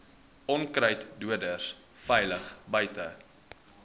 onkruiddoders veilig buite